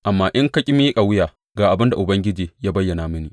Amma in ka ƙi miƙa wuya, ga abin da Ubangiji ya bayyana mini.